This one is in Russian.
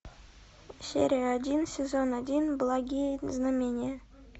серия один сезон один благие знамения